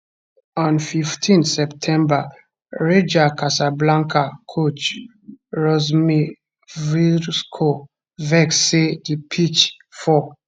on 15 september raja cassablanca coach rusmir cvirko vex say di pitch for